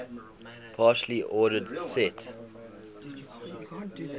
partially ordered set